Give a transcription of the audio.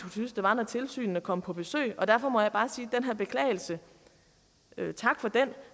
synes det var når tilsynene kom på besøg og derfor må jeg bare sige her beklagelse